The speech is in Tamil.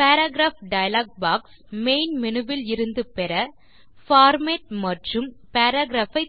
paragraph dialog box main menu விலிருந்து பெற பார்மேட் மற்றும் பாராகிராப்